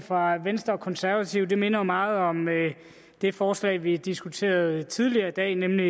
fra venstre og konservative minder jo meget om det forslag vi diskuterede tidligere i dag nemlig